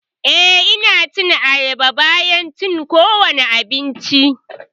Eh, Ina cin ayaba bayan cin kowane abinci.